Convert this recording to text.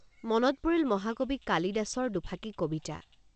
মনত পৰিল মহাকবি কালিদাসৰ দুফাঁকি কবিতা